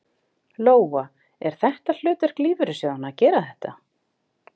Lóa: Er þetta hlutverk lífeyrissjóðanna að gera þetta?